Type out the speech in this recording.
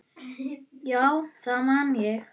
Já, það man ég